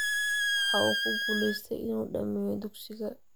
Waxa uu ku guulaystey in uu dhammeeyo dugsiga.